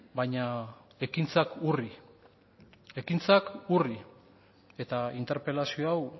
baina ekintzak urri eta interpelazio hau